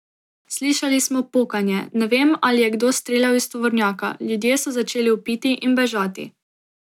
Slišali smo pokanje, ne vem, ali je kdo streljal iz tovornjaka, ljudje so začeli vpiti in bežati.